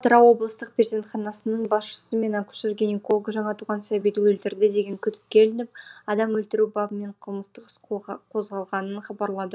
атырау облыстық перзентханасының басшысы мен акушер гинекологы жаңа туған сәбиді өлтірді деген күдікке ілініп адам өлтіру бабымен қылмыстық іс қозғалғанын хабарлады